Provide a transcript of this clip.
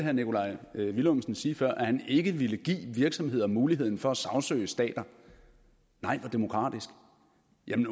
herre nikolaj villumsen sige før at han ikke ville give virksomheder muligheden for at sagsøge stater nej hvor demokratisk